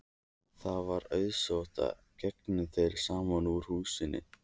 Það var auðsótt og gengu þeir saman úr húsinu.